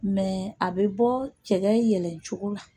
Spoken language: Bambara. a bɛ bɔ cɛ yɛlɛ cogo la